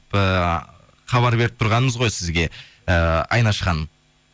ыыы хабар беріп тұрғанымыз ғой сізге ыыы айнаш ханым